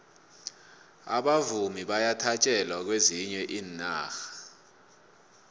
abavumi bayathatjelwa kwezinye iinarha